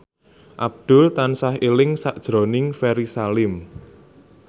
Abdul tansah eling sakjroning Ferry Salim